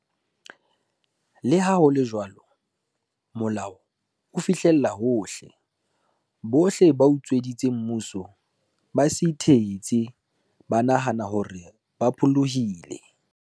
Leha ho le jwalo, molao o fihlella hohle. Bohle ba utsweditseng mmuso, ba se ithetse ba nahane hore ba pholohile.